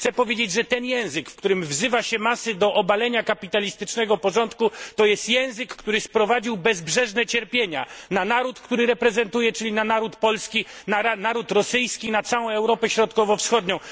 Chcę powiedzieć, że ten język, w którym wzywa się masy do obalenia kapitalistycznego porządku, to jest język, który sprowadził bezbrzeżne cierpienia na naród, który reprezentuję, czyli na naród polski, na naród rosyjski, na całą Europę Środkowo Wschodnią.